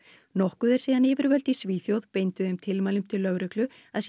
nokkuð er síðan yfirvöld í Svíþjóð beindu þeim tilmælum til lögreglu að sýna